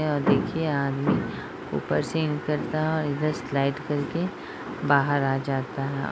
और देखिये आदमी ऊपर से उतरता है और इधर स्लाइड करके बाहर आ जाता है।